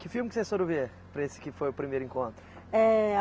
Que filme que vocês foram ver, para esse que foi o primeiro encontro? É